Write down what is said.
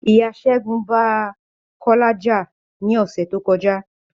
Ìyá ṣẹgun ba Kọ́lá já ni ọsẹ tó kọjá